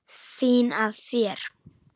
Fín af þér.